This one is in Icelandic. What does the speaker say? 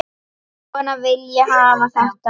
Svona vil ég hafa þetta.